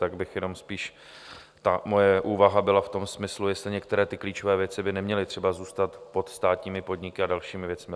Tak bych jenom spíš - ta moje úvaha byla v tom smyslu, jestli některé ty klíčové věci by neměly třeba zůstat pod státními podniky a dalšími věcmi.